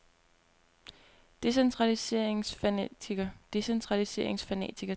decentraliseringsfanatiker decentraliseringsfanatiker decentraliseringsfanatiker